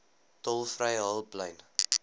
tolvrye hulplyn